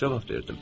Cavab verdim.